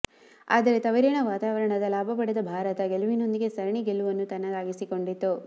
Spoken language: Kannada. ಆದರೆ ತವರಿನ ವಾತಾವರಣದ ಲಾಭ ಪಡೆದ ಭಾರತ ಗೆಲುವಿನೊಂದಿಗೆ ಸರಣಿ ಗೆಲುವನ್ನು ತನ್ನದಾಗಿಸಿಕೊಂಡಿತು